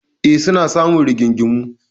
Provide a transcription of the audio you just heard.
E, suna samun rigingimu.